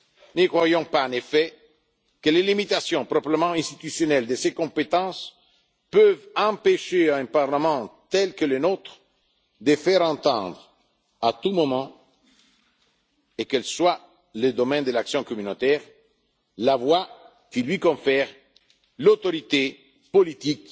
Ne croyons pas en effet que les limitations proprement institutionnelles de ses compétences peuvent empêcher un Parlement tel que le nôtre, de faire entendre à tout moment, et quel que soit le domaine de l'action communautaire, la voix que lui confère l'autorité